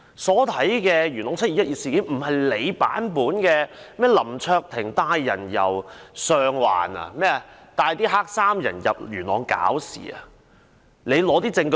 何君堯議員說林卓廷議員帶領黑衫人由上環到元朗"搞事"，請他提出證據。